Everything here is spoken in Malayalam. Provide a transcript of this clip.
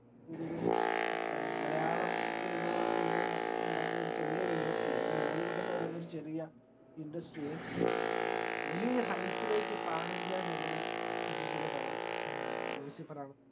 ഒരൊരു മലയാളം cinema എന്ന് എന്ന്പറയുന്ന ചെറിയൊരു indusrty യെ അല്ലെങ്കില് mollywood എന്ന് പറയുന്ന ചെറിയ indusrty യെ വലിയൊരു hype ലേക്ക് panindialevel ലിൽ എത്തിചൊരു പടം ഏർ ലൂസിഫർ ആണ്